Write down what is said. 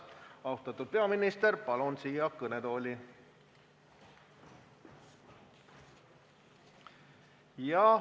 Austatud peaminister, palun teid siia kõnetooli!